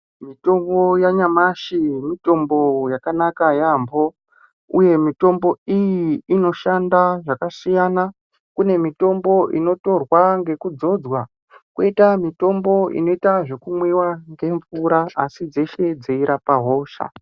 Mitombo yanyamashi mitombo yakanaka yaamho uye mitombo iyi inoshanda zvakasiyana kune mitombo inotorwa ngekudzodzwa, koita mitombo inoita zvekumwiwa ngemvura asi dzeshe dzeirapa hosha.